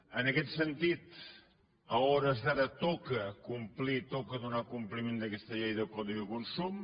en aquest sentit a hores d’ara toca complir toca donar compliment a aquesta llei del codi de consum